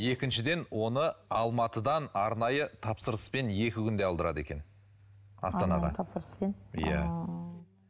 екіншіден оны алматыдан арнайы тапсырыспен екі күнде алдырады екен астанаға тапсырыспен иә ыыы